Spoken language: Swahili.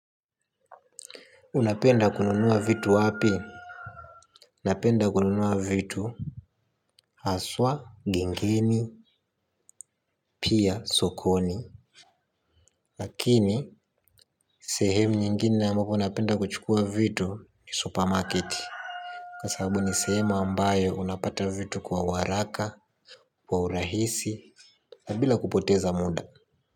Unapenda kununua vitu wapi? Napenda kununua vitu haswa, gengeni, pia sokoni lakini, sehemu nyingine ambapo napenda kuchukua vitu ni supermarket kwasababu ni sehemu ambayo unapata vitu kwa uwaraka, kwa urahisi, na bila kupoteza muda.